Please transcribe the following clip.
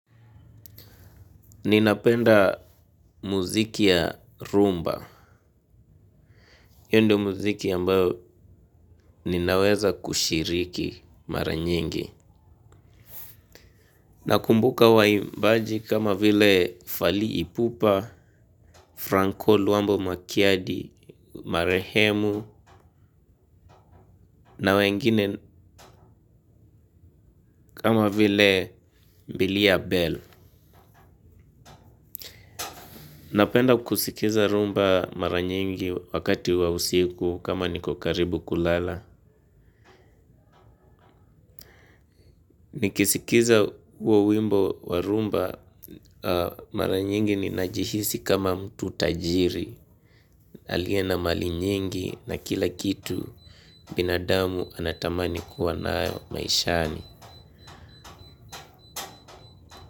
Ninapenda muziki ya rhumba. Hio ndio muziki ambayo, ninaweza kushiriki, mara nyingi. Nakumbuka waimbaji kama vile Fali Ipupa, Franko Luambo Makiadi, Marehemu, na wengine. Kama vile Mbilia Bell. Napenda kusikiza rhumba mara nyingi wakati wa usiku kama niko karibu kulala. Nikisikiza huo wimbo wa rhumba, mara nyingi ninajihisi kama mtu tajiri. Aliye na mali nyingi na kila kitu, binadamu anatamani kuwa nayo maishani.